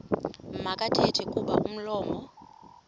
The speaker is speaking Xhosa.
makathethe kuba umlomo